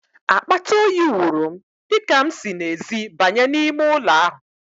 Akpata oyi wụrụ m, dịka m si n'ezi banye n'ime ụlọ ahụ.